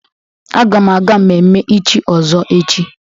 Aga m aga mmemme ichi ọzọ echi.